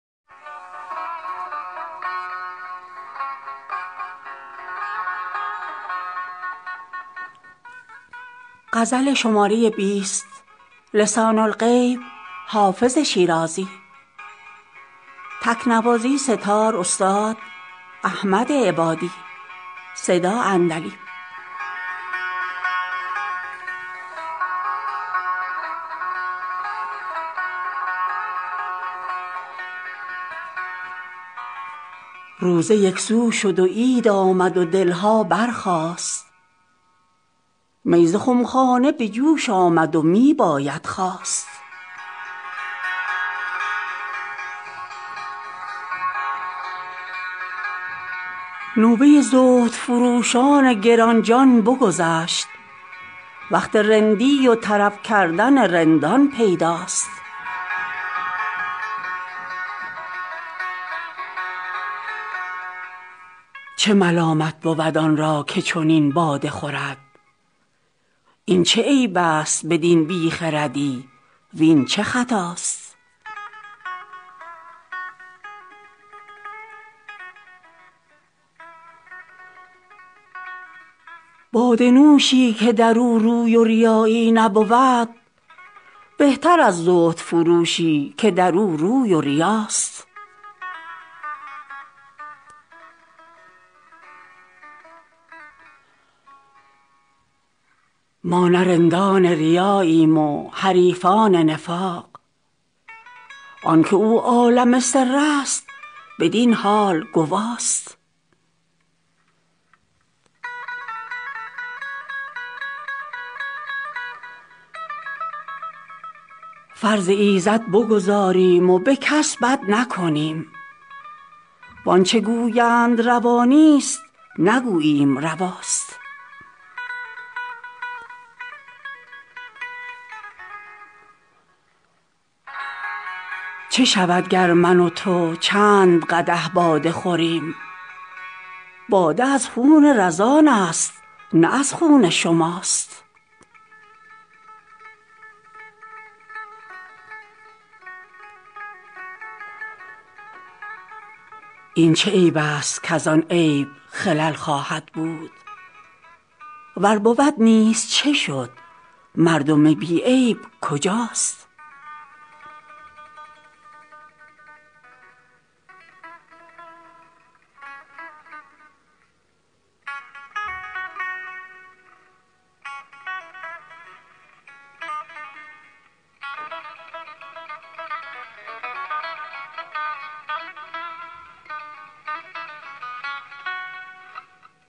روزه یک سو شد و عید آمد و دل ها برخاست می ز خم خانه به جوش آمد و می باید خواست نوبه زهدفروشان گران جان بگذشت وقت رندی و طرب کردن رندان پیداست چه ملامت بود آن را که چنین باده خورد این چه عیب است بدین بی خردی وین چه خطاست باده نوشی که در او روی و ریایی نبود بهتر از زهدفروشی که در او روی و ریاست ما نه رندان ریاییم و حریفان نفاق آن که او عالم سر است بدین حال گواست فرض ایزد بگزاریم و به کس بد نکنیم وان چه گویند روا نیست نگوییم رواست چه شود گر من و تو چند قدح باده خوریم باده از خون رزان است نه از خون شماست این چه عیب است کز آن عیب خلل خواهد بود ور بود نیز چه شد مردم بی عیب کجاست